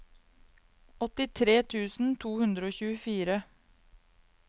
åttitre tusen to hundre og tjuefire